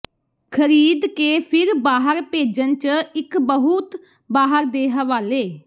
ਖਰੀਦਕੇ ਫਿਰ ਬਾਹਰ ਭੇਜਣ ਜ ਇੱਕ ਬਹੁਤ ਬਾਹਰ ਦੇ ਹਵਾਲੇ